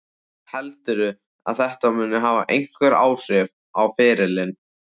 Heldurðu að þetta muni hafa einhver áhrif á ferilinn?